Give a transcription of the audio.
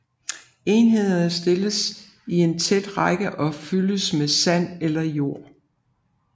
Enhederne stilles i en tæt række og fyldes med sand eller jord